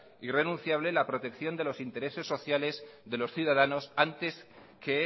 irrenunciable la protección de los intereses sociales de los ciudadanos antes que